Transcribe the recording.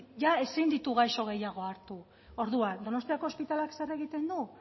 jada ezin ditu gaixo gehiago hartu orduan donostiako ospitaleak zer egiten du